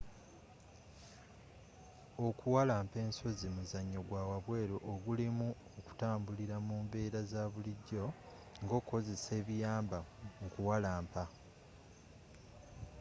okuwalampa ensozi muzanyo gwawabweru ogulimu okutambulira mu mbeera zabulijjo ngokozesa ebiyamba mu kuwalampa